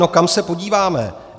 No, kam se podíváme.